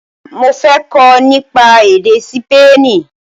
Mo fẹ́ kọ́ nípa èdè Sípéènì